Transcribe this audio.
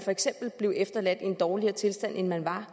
blev efterladt i en dårligere tilstand end man var